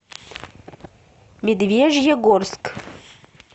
медвежьегорск